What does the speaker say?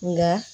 Nka